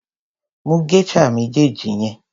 Mú geisha méjèèjì yẹn.